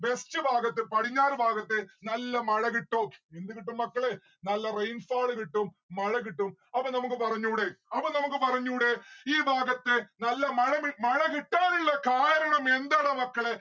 west ഭാഗത്തെ പടിഞ്ഞാർ ഭാഗത്തെ നല്ല മഴ കിട്ടും എന്ത് കിട്ടും മക്കളെ നല്ല rainfall കിട്ടും മഴ കിട്ടും അപ്പോ നമ്മുക്ക് പറഞ്ഞൂടെ അപ്പം നമ്മുക്ക് പറഞ്ഞൂടെ ഈ ഭാഗത്തെ നല്ല മഴ മി മഴ കിട്ടാനിള്ള കാരണം എന്താടാ മക്കളെ